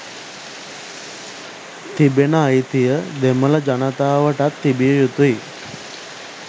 තිබෙන අයිතිය දෙමළ ජනතාවටත් තිබිය යුතුයි.